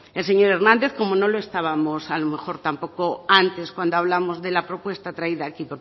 el señor hernández como no lo estábamos a lo mejor tampoco antes cuando hablamos de la propuesta traída aquí